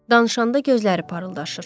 Danışanda gözləri parıldaşır.